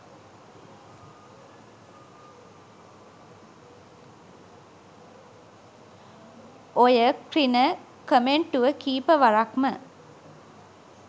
ඔය ක්‍රින කමෙන්ටුව කීප වරක්ම